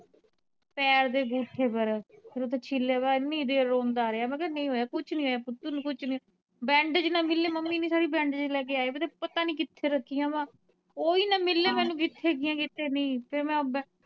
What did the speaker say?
ਪੈਰ ਦੇ ਅੰਗੂਠੇ ਪਰ ਉੱਤੋਂ ਛਿੱਲਿਆ ਪਿਆ ਏਨੀ ਦੇਰ ਰੋਂਦਾ ਰਹਿਆ ਮੈ ਕਹਿਆ ਨਹੀਂ ਹੋਇਆ ਕੁਝ ਨਹੀਂ ਹੋਇਆ ਪੁੱਤ ਤੈਨੂੰ ਕੁਝ ਨਹੀਂ ਹੋਇਆ bandage ਨਾ ਮਿਲੇ ਮੰਮੀ ਨੇ ਸਾਰੇ bandage ਲੈ ਕੇ ਆਏ ਪਤਾ, ਪਤਾ ਨਹੀਂ ਕਿੱਥੇ ਰੱਖਈਆ ਵਾ ਓਵੀ ਨਾ ਮਿਲਣ ਮੈਨੂੰ ਕਿੱਥੇ ਹੇਗੀਆਂ ਕਿੱਥੇ ਨਹੀਂ।